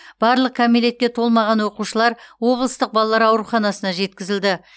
барлық кәмелетке толмаған оқушылар облыстық балалар ауруханасына жеткізілді